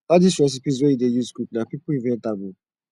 all these recipes wey we dey use cook na people invent am oo